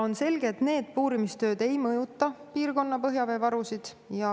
On selge, et need puurimistööd ei mõjuta piirkonna põhjaveevarusid.